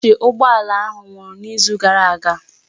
Batrị ụgbọ ala ahụ nwụrụ n'izu gara aga